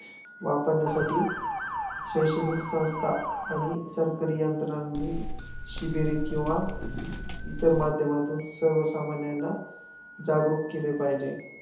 वापरण्यासाठी शैक्षणिक संस्था आणि सरकारी यंत्रणांनी शिबिरे किंवा इतर माध्यमांतून सर्वसामान्यांना जागृक केले पाहिजे.